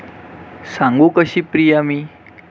सांगू कशी प्रिया मी